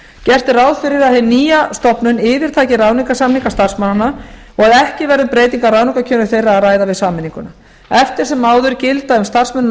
gert er ráð fyrir að hin nýja stofnun yfirtaki ráðningarsamninga starfsmannanna og að ekki verði um breytingar á ráðningu þeirra að ræða við sameininguna eftir sem áður gilda um starfsmennina